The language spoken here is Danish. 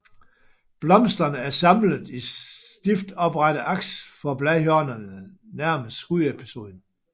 Blomsterne er samlet i stift oprette aks fra bladhjørnerne nærmest skudspidsen